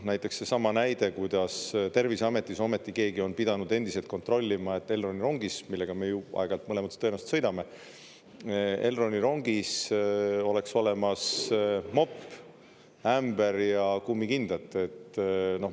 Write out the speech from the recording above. Näiteks seesama näide, kuidas Terviseametis ometi keegi on pidanud endiselt kontrollima, et Elroni rongis, millega me ju aeg-ajalt mõlemad tõenäoliselt sõidame, Elroni rongis oleks olemas mopp, ämber ja kummikindad.